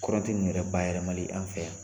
Kɔrɔnti nunnu yɛrɛ ba yɛlɛmali anw fɛ yan